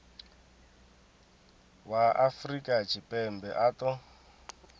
wa afrika tshipembe a ṱo